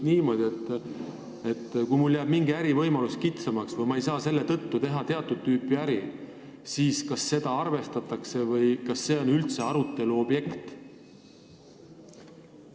Kui mul jääb näiteks mingi ärivõimalus kitsamaks või ma ei saa seetõttu teatud tüüpi äri teha, siis kas seda arvestatakse või kas see on üldse arutelu objekt?